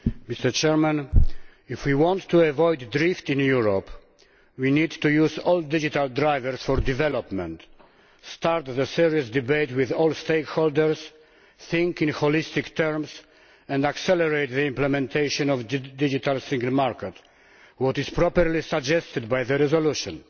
Mr President, if we want to avoid drift in Europe, we need to use all digital drivers for development, start a serious debate with all stakeholders, think in holistic terms and accelerate the implementation of the Digital Single Market, as is properly suggested by the resolution.